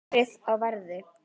Verið á verði.